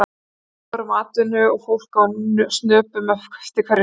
Lítið var um atvinnu og fólk á snöpum eftir hverju sem var.